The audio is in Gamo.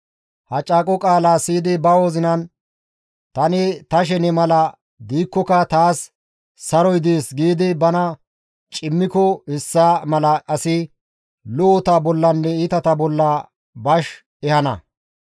Ha caaqo qaalaa siyidi ba wozinan, «Tani ta shene mala diikkoka taas saroy dees» giidi bana cimmiko hessa mala asi lo7ota bollanne iitata bolla bash ehana.